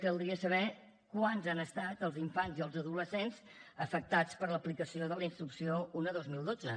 caldria saber quants han estat els infants i els adolescents afectats per l’aplicació de la instrucció un dos mil dotze